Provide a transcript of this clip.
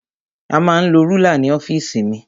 A ma ń lo rúlà ní ọ́fìsì mi.